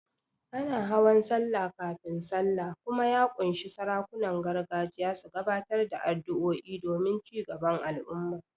Ana hawan Sallah kafin Sallah kuma ya ƙunshi sarakunan gargajiya su gabatar da addu'o'i don cigaban al'umma.